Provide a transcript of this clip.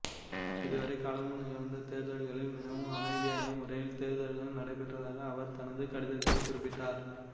இதுவரை காலமும் நிகழ்ந்த தேர்தல்களில் மினவும் அமைதியான முறையில் தேர்தல்கள் நடைபெற்றதாக அவர் தனது கடிதத்தில் குறிப்பிட்டார்